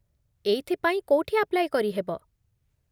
ଏଇଥିପାଇଁ କୋଉଠି ଆପ୍ଲାଇ କରିହେବ?